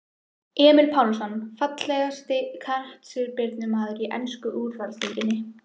Emil Pálsson Fallegasti knattspyrnumaðurinn í ensku úrvalsdeildinni?